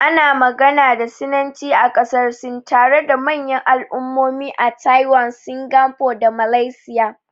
Ana magana da Sinanci a ƙasar Sin, tare da manyan al'ummomi a Taiwan, Singapore da Malaysia.